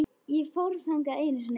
Ég fór þangað einu sinni.